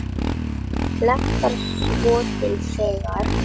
Mig hlakkar svo til þegar.